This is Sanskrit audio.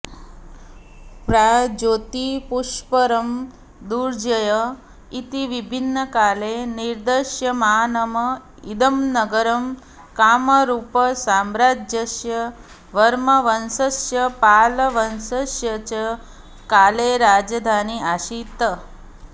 प्राग्ज्योतिष्पुरम् दुर्जय इति विभिन्नकाले निर्दिश्यमानम् इदं नगरं कामरूपसाम्राज्यस्य वर्मवंशस्य पालवंशस्य च काले राजधानी आसीत्